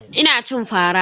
Ina cin fara.